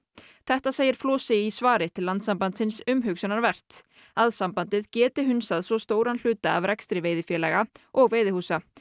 þetta segir Flosi í svari til Landssambandsins að sambandið geti hunsað svo stóran hluta af rekstri veiðifélaga og veiðihúsa